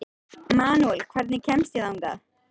Manuel, hvernig kemst ég þangað?